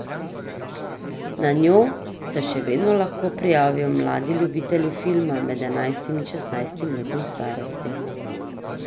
Na njo se še vedno lahko prijavijo mladi ljubitelji filma med enajstim in šestnajstim letom starosti.